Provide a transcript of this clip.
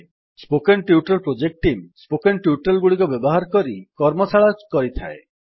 spoken tutorial project team spoken tutorial ଗୁଡିକ ବ୍ୟବହାର କରି କାର୍ଯ୍ୟଶାଳା କରିଥାଏ